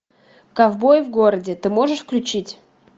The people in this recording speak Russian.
ковбои в городе ты можешь включить